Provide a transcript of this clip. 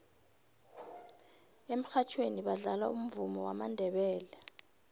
emurhatjhweni badlala umvumo wamandebele